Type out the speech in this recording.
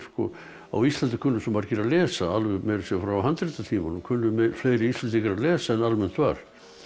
á Íslandi kunnu svo margir að lesa meira að segja frá handritatímanum kunnu fleiri Íslendingar að lesa en almennt var